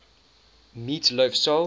meat loaf soul